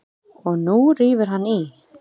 Og nú rífur hann í.